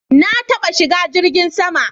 Na taɓa shiga jirgin sama